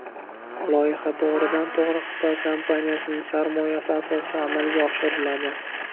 Loyiha to‘g‘ridan to‘g‘ri Xitoy kompaniyasining sarmoyasi asosida amalga oshiriladi.